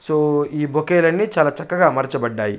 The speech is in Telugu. సూ ఈ బౌక్యూ లన్ని చాల చక్కగా అమర్చబడ్డాయి.